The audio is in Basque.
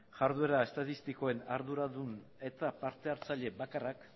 jarduera estatistikoen arduran eta parte hartzaile bakarrak